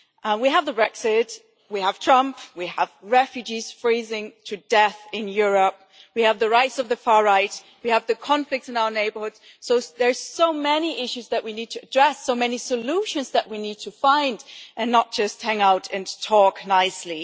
We have Brexit, we have Trump, we have refugees freezing to death in Europe, we have the rights of the far right, we have conflicts in our neighbourhoods there are so many issues that we need to address, so many solutions that we need to find, and not just hang out and talk nicely.